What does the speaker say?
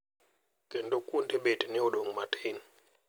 Kendo kuonde bet ne odong` matin.